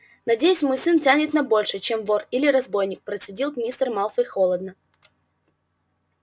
надеюсь мой сын тянет на большее чем вор или разбойник процедил мистер малфой холодно